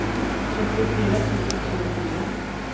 trettiofyra tusen tjugofyra